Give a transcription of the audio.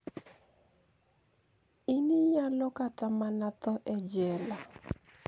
Iniyalo kata mania tho e jela.